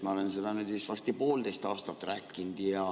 Ma olen seda varsti poolteist aastat rääkinud.